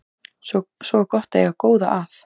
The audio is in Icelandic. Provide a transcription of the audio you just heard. Svo var gott að eiga góða að.